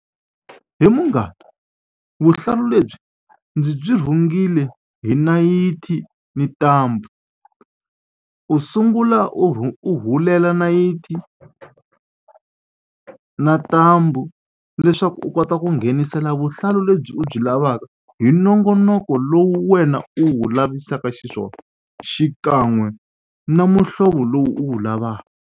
He munghana vuhlalu lebyi ndzi byi rhungile hi nayiti na ntambu u sungula u u hulela nayiti na ntambu leswaku u kota ku nghenisela vuhlalu lebyi u byi lavaka hi nongonoko lowu wena u wu lavisaka xiswona xikan'we na muhlovo lowu u wu lavaka.